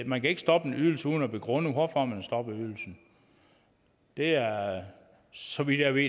man kan ikke stoppe en ydelse uden at begrunde hvorfor man stopper ydelsen det er så vidt jeg ved